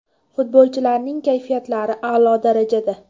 Futbolchilarning kayfiyatlari a’lo darajada.